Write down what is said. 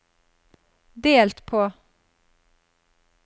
delt på